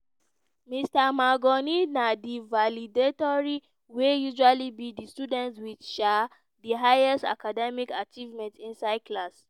mr mangione na di valedictorian wey usually be di student with um di highest academic achievements inside class.